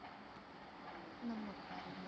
નમક વાળું મીઠું.